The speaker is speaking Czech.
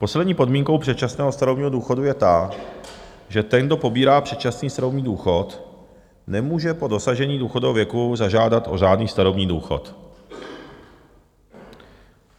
Poslední podmínkou předčasného starobního důchodu je ta, že ten, kdo pobírá předčasný starobní důchod, nemůže po dosažení důchodového věku zažádat o řádný starobní důchod.